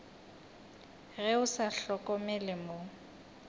ge o sa hlokomele mo